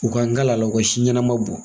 U ka n kalan la, u ka si ɲɛnama bɔ.